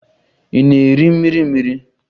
Ị na-eri mmiri mmiri?